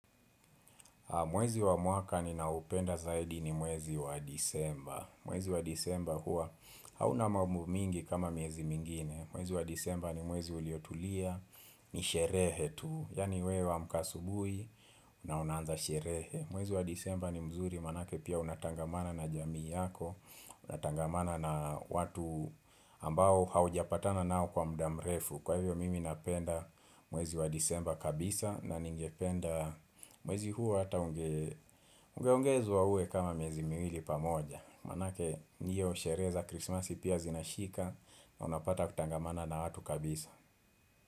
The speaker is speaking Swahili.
Mwezi wa mwaka ninaopenda zaidi ni mwezi wa Desemba. Mwezi wa Desemba huwa hauna mambo mingi kama miezi mingine. Mwezi wa Desemba ni mwezi uliotulia, ni sherehe tu. Yaani we wa amka asubuhi, na unanza sherehe. Mwezi wa Desemba ni mzuri, maanake pia unatangamana na jamii yako. Unatangamana na watu ambao haujapatana nao kwa muda mrefu. Kwa hivyo mimi napenda mwezi wa Desemba kabisa na ningependa mwezi huo hata unge ungeongezwa uwe kama miezi miwili pamoja Maanake hiyo shereza krismasi pia zinashika na unapata kutangamana na watu kabisa.